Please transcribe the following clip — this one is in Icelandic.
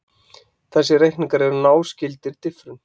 Þessir reikningar eru náskyldir diffrun.